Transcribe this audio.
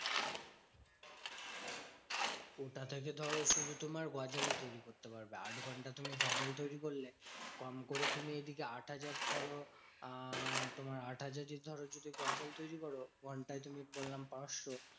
ঐটা থেকে ধরো শুধু তোমার গজালই তৈরী করতে পারবে। আট ঘন্টা তুমি গজাল তৈরী করলে, কম করে তুমি এদিকে আটহাজার ধরো আহ তোমার আটহাজারই ধরো যদি গজাল তৈরী করো। ঘন্টায় তুমি বললাম পাঁচশো